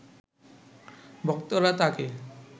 ভক্তরা তাকে